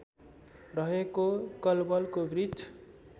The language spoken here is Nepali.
रहेको कलवलको वृक्ष